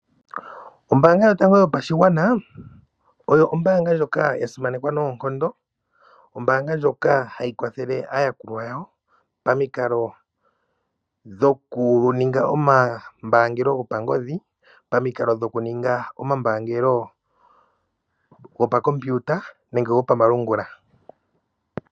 Ombaanga yotango yopashigwana oyo ombaanga ndjoka ya simanekwa noonkondo. Ombaanga ndjoka hayi kwathele aayakulwa yawo pamikalo dhokuninga omambaangelo gopangodhi, pamikalo dhokuninga omambaangelo gopakompiuta nenge gopamalungula.